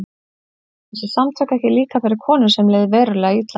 Voru þessi samtök ekki líka fyrir konur sem leið verulega illa?